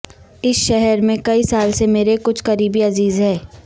اس شہر میں کئی سال سے میرے کچھ قریبی عزیز ہیں